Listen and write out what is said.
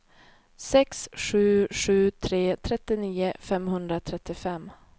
sex sju sju tre trettionio femhundratrettiofem